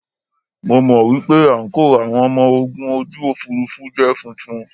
Mo mọ̀ wípé àǹkóò àwọn ọmọ ogun ojú òfuurufú jẹ́ funfun.